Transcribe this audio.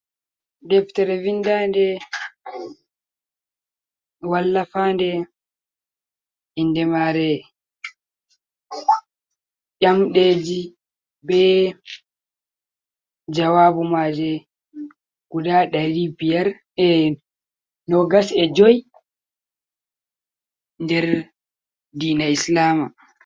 Deftere vindande wallafande ,inde mare ynamdeji be jawabu maje guda dari biyar 25 der dina islama.